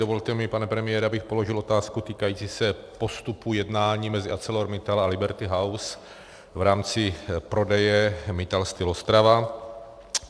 Dovolte mi, pane premiére, abych položil otázku týkající se postupu jednání mezi ArcelorMittal a Liberty House v rámci prodeje Mittal Steel Ostrava.